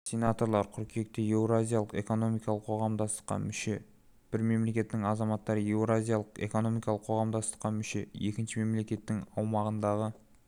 сенаторлар қыркүйекте еуразиялық экономикалық қоғамдастыққа мүше бір мемлекеттің азаматтары еуразиялық экономикалық қоғамдастыққа мүше екінші мемлекеттің аумағындағы